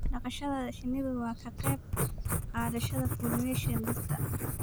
dhaqashada shinnidu waa ka qayb qaadashada pollination dhirta.